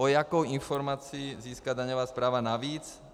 O jakou informaci získá daňová správa navíc?